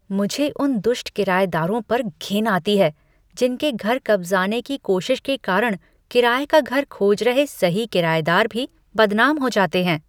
मुझे उन दुष्ट किरायेदारों पर घिन आती है जिनके घर कब्जाने की कोशिश के कारण किराए का घर खोज रहे सही किरायेदार भी बदनाम हो जाते हैं।